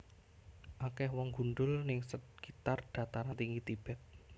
Akeh wong gundul ning sekitar Dataran Tinggi Tibet